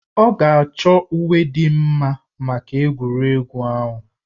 Ọ ga-achọ uwe dị mma maka egwuregwu ahụ